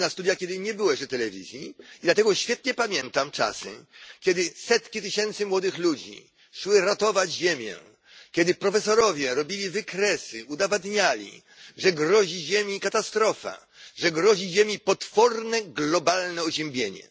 Chodziłem na studia, gdy nie było jeszcze telewizji, dlatego świetnie pamiętam czasy, kiedy setki tysięcy młodych ludzi szły ratować Ziemię, kiedy profesorowie robili wykresy, udowadniali, że grozi Ziemi katastrofa, że grozi Ziemi potworne globalne oziębienie.